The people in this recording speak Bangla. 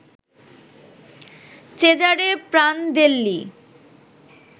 Cesare Prandelli